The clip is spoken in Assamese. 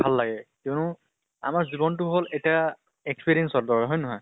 ভাল লাগে কিয়্নো আমাৰ জীৱন টো হল এটা experience ৰ দৰে হয় নে নহয়?